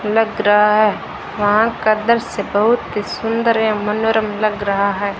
लग रहा है वहां का दृश्य बहुत ही सुंदर एवं मनोरम लग रहा है।